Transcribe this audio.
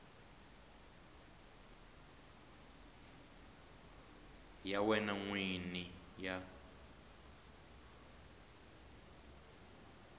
ya wena n wini ya